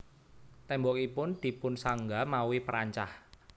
Tembokipun dipunsangga mawi perancah